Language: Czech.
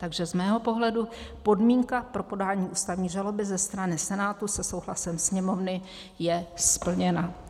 Takže z mého pohledu podmínka pro podání ústavní žaloby ze strany Senátu se souhlasem Sněmovny je splněna."